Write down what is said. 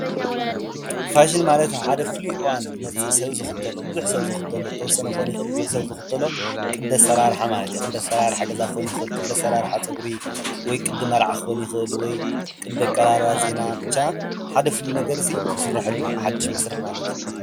ፋሽን ማለት ኣብ ሓደ ፍሉይ እዋን ዝመፅእ ብዝሕ ዝበለ ሰብ ዝክተሎ ብዝሕ ዝበለ ሰብ ክከውን ይክእል ውሑድ ዝበለ ሰብ ክከወን ይክእል ዝክተሎ ቅዲ ኣሰራርሓ ማለት እዩ። ቅዲ ኣሰራርሓ ገዛ ክከውን ይክእል ቅዲ ኣሰራርሓ ፀጉሪ ወይ ቅዲ መርዓ ክከውን ይክእል እዩ ወይ ቅዲ ኣቀራርባ ዜና ክከውንይክእል እዩ ወይ ብቻ ሓደ ፍልይ ዝበለ ነገር ዝስርሐሉ ሓድሽ መስርሕ ማለት እዩ።